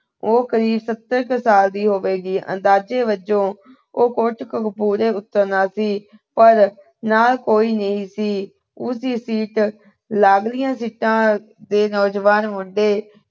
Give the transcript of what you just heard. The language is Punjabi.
ਉਹ ਕਰੀਬ ਸੱਤਰ ਕੁ ਸਾਲ ਦੀ ਹੋਵੇਗੀ। ਅੰਦਾਜੇ ਵਜੋਂ ਉਹਨੇ ਕੋਟਕਪੂਰੇ ਉਤਰਨਾ ਸੀ ਪਰ ਨਾਲ ਕੋਈ ਨੀ ਸੀ। ਉਸਦੀ ਸੀਟ ਲਾਗਲੀਆਂ ਸੀਟਾਂ ਦੇ ਨੌਜਵਾਨ ਮੁੰਡੇ